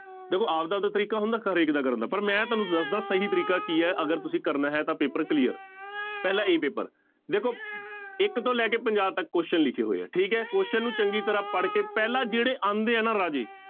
ਦੇਖੋ ਆਪਦਾ ਆਪਦਾ ਤਰੀਕਾ ਹੁੰਦਾ, ਹਰੇਕ ਦਾ ਕਰਨ ਦਾ, ਪਰ ਮੈਂ ਤੁਹਾਨੂੰ ਦੱਸਦਾਂ ਸਹੀ ਤਰੀਕਾ ਕੀ ਹੈ ਅਗਰ ਤੁਸੀਂ ਕਰਨਾ ਹੈ ਤਾਂ ਪੇਪਰ clear ਪਹਿਲਾਂ a ਪੇਪਰ, ਦੇਖੋ ਇੱਕ ਤੋਂ ਲੈ ਕੇ ਪੰਜਾਹ ਤੱਕ question ਲਿਖੇ ਹੋਏ ਹੈ ਠੀਕ ਹੈ question ਨੂੰ ਚੰਗੀ ਤਰ੍ਹਾਂ ਪੜ੍ਹਕੇ ਪਹਿਲਾਂ ਜਿਹੜੇ ਆਉਂਦੇ ਹੈ ਨਾ ਰਾਜੇ